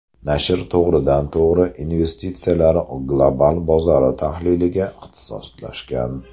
Nashr to‘g‘ridan-to‘g‘ri investitsiyalar global bozori tahliliga ixtisoslashgan.